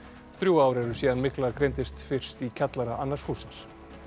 þrjú ár eru síðan mygla greindist fyrst í kjallara annars hússins